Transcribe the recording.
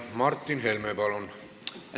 Martin Helme, palun!